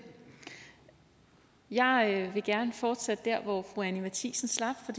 jeg vil gerne fortsætte der hvor fru anni matthiesen slap for